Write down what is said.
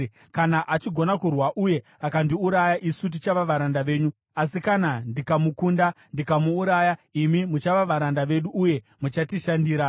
Kana achigona kurwa uye akandiuraya, isu tichava varanda venyu; asi kana ndikamukunda ndikamuuraya, imi muchava varanda vedu uye muchatishandira.”